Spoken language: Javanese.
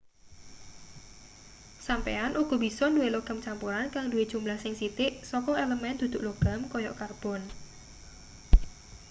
sampeyan uga bisa duwe logam campuran kang duwe jumlah sing sithik saka elemen dudu logam kaya karbon